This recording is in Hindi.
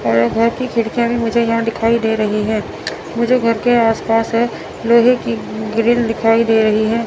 और घर की खिड़कियां भी मुझे यहां दिखाई दे रही हैं मुझे घर के आस पास लोहे की ग्रील दिखाई दे रही है।